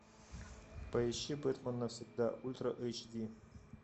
поищи бэтмен навсегда ультра эйч ди